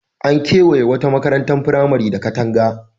An kewaye wata makarantar firamare da katanga.